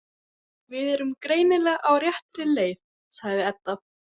Við erum greinilega á réttri leið, sagði Edda.